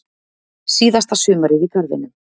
Síðasta sumarið í garðinum.